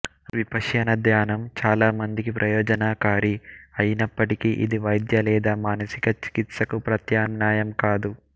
విపశ్యన ధ్యానం చాల మందికి ప్రయోజనకారి అయినప్పటికీ ఇది వైద్య లేదా మానసిక చికిత్సకు ప్రత్యామ్నాయం కాదు